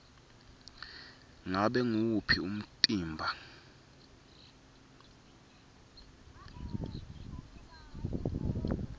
ngabe nguwuphi umtimba